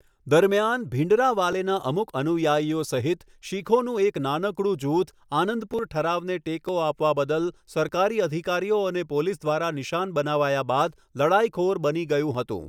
દરમિયાન, ભિંડરાવાલેના અમુક અનુયાયીઓ સહિત, શીખોનું એક નાનકડું જૂથ, આનંદપુર ઠરાવને ટેકો આપવા બદલ સરકારી અધિકારીઓ અને પોલીસ દ્વારા નિશાન બનાવાયા બાદ લડાઇખોર બની ગયું હતું.